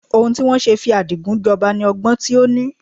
Ohun tí wọn ṣe fi Adigun jọba ni ọgbọ́n tí ó ní.